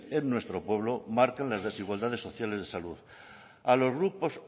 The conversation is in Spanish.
en nuestro pueblo marcan las desigualdades sociales de salud